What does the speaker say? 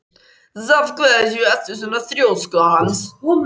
Af hverju ertu svona þrjóskur, Hans?